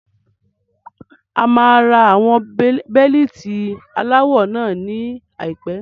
A máa ra àwọn Bẹ́líìtì aláwọ náà ní àìpé.